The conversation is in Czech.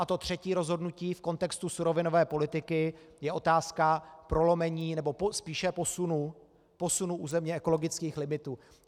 A to třetí rozhodnutí v kontextu surovinové politiky je otázka prolomení, nebo spíše posunu, posunu územně ekologických limitů.